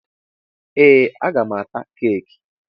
Ee! A ga m ata keeki.